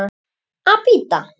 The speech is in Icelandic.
Að bíta.